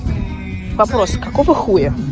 вопросы какого хуя